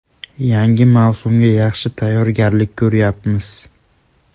Yangi mavsumga yaxshi tayyorgarlik ko‘ryapmiz.